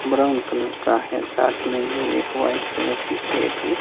brown colour का है साथ में ही एक वाइट कलर की प्लेट भी--